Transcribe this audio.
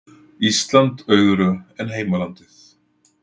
Ísland auðugra en heimalandið